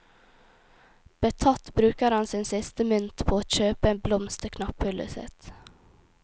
Betatt bruker han sin siste mynt på å kjøpe en blomst til knapphullet sitt.